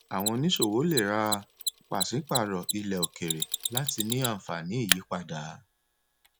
àwọn oníṣòwò lè rà pàṣípàrọ ilẹ òkèèrè láti ní anfaani ìyípadà